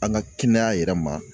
An ka kɛnɛya yɛrɛ ma